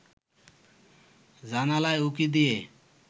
জানালায় উঁকি দিয়ে